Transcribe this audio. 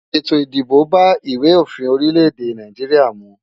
Ètò ìdìbò bá ìwé òfin orílẹ̀ èdè Nàìjíríà mu.